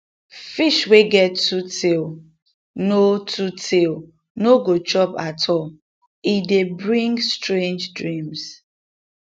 fish wey get two tail no two tail no go chop at all e dey bring strange dreams